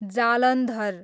Jalandhar